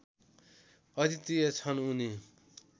अद्वितीय छन् उनी